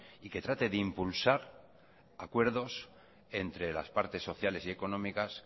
y que trate de impulsar acuerdos entre las partes sociales y económicas